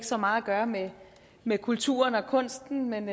så meget at gøre med med kulturen og kunsten men